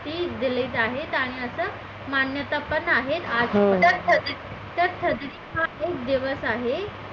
दिली आहे आणि असं मान्यता पण आहे